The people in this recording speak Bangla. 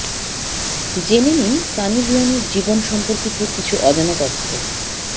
জেনে নিন সানি লিওনির জীবন সম্পর্কিত কিছু অজানা তথ্য